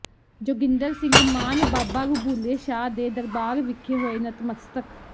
ਜੋਗਿੰਦਰ ਸਿੰਘ ਮਾਨ ਬਾਬਾ ਰਬੁੱਲੇ ਸ਼ਾਹ ਦੇ ਦਰਬਾਰ ਵਿਖੇ ਹੋਏ ਨਤਮਸਤਕ